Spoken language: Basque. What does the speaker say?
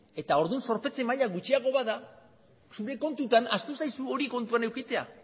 eta orduan zorpetze maila gutxiagoa bada zure kontutan ahaztu zaizu hori kontuan edukitzea